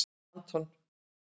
Anton